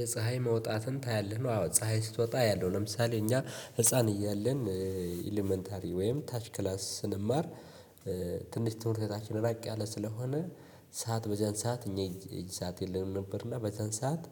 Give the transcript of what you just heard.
የፀሀይ መውጣትን ታያለህ ነው? አዎ ፀሀይ ስትወጣ አያለሁ። ለምሳሌ እኛ ህፃን እያለን ኤለመንታሪ ወይም ታች ክላስ ስንማር ትንሽ ትምህርት ቤታችን ራቅ ያለ ስለሆነ። ሰዓት በዚያን ሰዓት እኛ የእጅ ሰዓት የለንም ነበር። እና በዚያን ሰዓት